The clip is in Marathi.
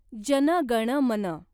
जन गण मन